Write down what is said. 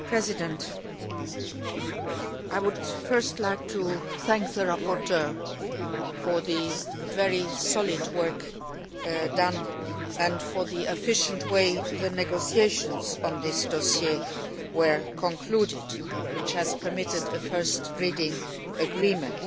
Mr President, I would first like to thank the rapporteur for the very solid work done and for the efficient way the negotiations on this dossier were concluded, which has permitted a first reading agreement.